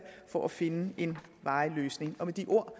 for at finde en varig løsning med de ord